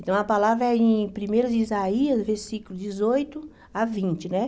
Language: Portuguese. Então, a palavra é em primeiro Isaías, versículo dezoito a vinte, né?